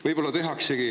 Võib-olla tehaksegi.